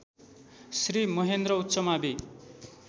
Shri Mahendra उमबि